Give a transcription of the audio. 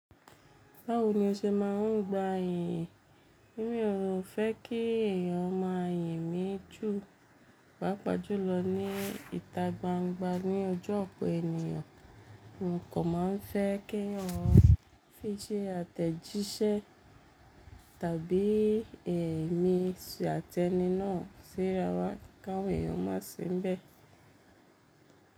Báwo ni o ṣe máa ń gba èyí? Mí ò fẹ́ kí ẹ̀yàn máa yimí jù, pá pàjùlọ ní ìta gbangba ní ojú ọ̀pọ̀ ènìyàn, mo kàn má a fẹ́ kí ẹ̀yàn fi jẹ àtẹ̀jíṣẹ́ tàbí ẹ̀mí àtẹni náà sí rawà, káwọ̀ ẹ̀yàn má ṣe ń bẹ̀.